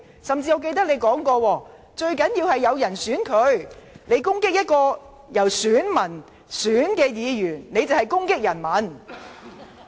我記得你甚至說過，最重要的是有選民投票給他們，如果攻擊由選民選出的議員，便是攻擊人民。